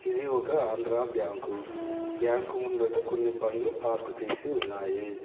ఇది ఒక Andhra bank bank ముందట కొన్ని బండ్లు పార్క్ చేసి ఉన్నాయి.